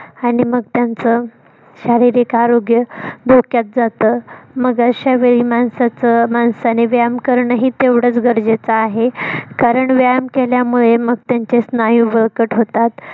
आणि मग त्यांचं शारीरिक आरोग्य धोक्यात जात मग अश्यावेळी माणसाचं माणसाने व्यायाम कारण ही तेवढाच गरजेचं आहे कारण व्यायाम केल्यामुळे मग त्यांचे स्नायू बळकट होतात.